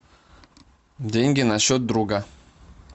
деньги на счет друга